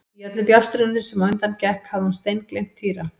Í öllu bjástrinu sem á undan gekk hafði hún steingleymt Týra.